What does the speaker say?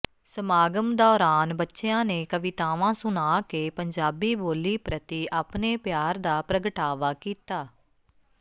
ਸਮਾਗਮ ਦੌਰਾਨ ਬੱਚਿਆਂ ਨੇ ਕਵਿਤਾਵਾਂ ਸੁਣਾ ਕੇ ਪੰਜਾਬੀ ਬੋਲੀ ਪ੍ਰਤੀ ਆਪਣੇ ਪਿਆਰ ਦਾ ਪ੍ਰਗਟਾਵਾ ਕੀਤਾ